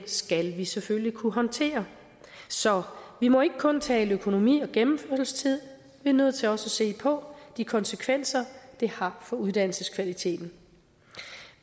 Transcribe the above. skal vi selvfølgelig kunne håndtere så vi må ikke kun tale økonomi og gennemførelsestid vi er nødt til også at se på de konsekvenser det har for uddannelseskvaliteten